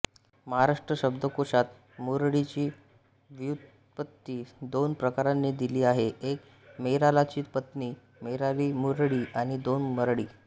महाराष्ट्रशब्दकोशात मुरळीची व्युत्पत्ती दोन प्रकारांनी दिली आहे एक मैरालाची पत्नी मैरालीमुरळी आणि दोन मरळी